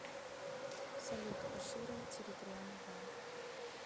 салют кашира территориальный банк